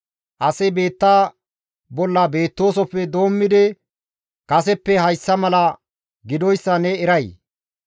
«Asi biitta bolla beettoosofe doommidi kaseppe hayssa mala gidoyssa ne eray?